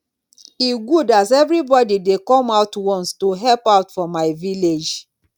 e good as everybody dey come out once to help out for my village